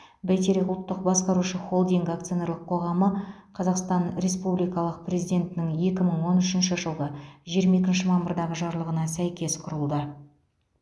бәйтерек ұлттық басқарушы холдингі акционерлік қоғамы қазақстан республикалық президентінің екі мың он үшінші жылғы жиырма екінші мамырдағы жарлығына сәйкес құрылды